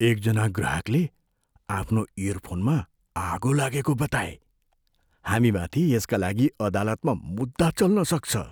एकजना ग्राहकले आफ्नो इयरफोनमा आगो लागेको बताए। हामीमाथि यसका लागि अदालतमा मुद्दा चल्न सक्छ।